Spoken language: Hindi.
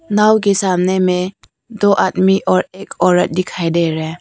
नांव के सामने में दो आदमी और एक औरत दिखाई दे रहे हैं।